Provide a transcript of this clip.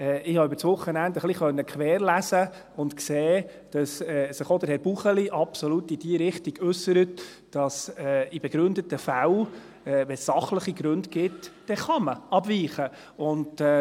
Ich konnte über das Wochenende ein wenig querlesen und sehen, dass sich auch Herr Buchli absolut in die Richtung äussert, dass man in begründeten Fällen, wenn es sachliche Gründe gibt, abweichen kann.